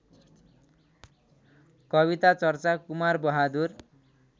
कविता चर्चा कुमारबहादुर